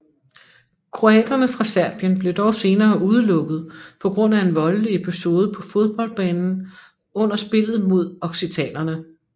Kroaterne fra Serbien blev dog senere udelukket på grund af en voldelig episode på fodboldbanen under spillet mod occitanere